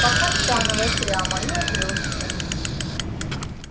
по каштановой прямо и упрёшься